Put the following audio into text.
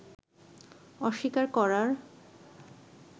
অস্বীকার করার